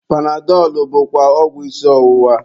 Panadọlụ bụkwa ọgwụ isi ọwụwa.